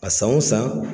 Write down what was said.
A san o san